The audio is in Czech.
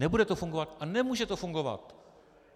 Nebude to fungovat a nemůže to fungovat.